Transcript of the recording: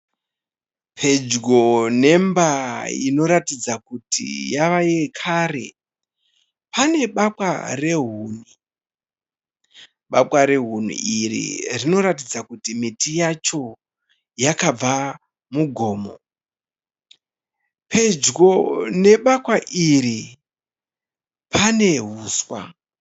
Pedyo nemba inoratidza kuti yavayekare. Pane bakwa rehuni. Bakwa rehuni iri rinoratdza kuti miti yacho yakabva mugomo. Pedyo nebakwa iri pane huswa.